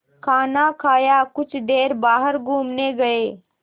खाना खाया कुछ देर बाहर घूमने गए